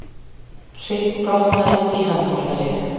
Hryggbrotnaði í handboltaleik